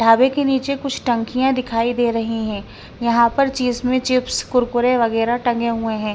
ढाबे के नीचे कुछ टंकियाँ दिखाई दे रही हैं यहाँ पर चीज में चिप्स कुरकुरे वगैरह टंगे हुए हैं।